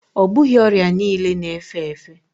Ọ bụghị ọrịa niile na efe efe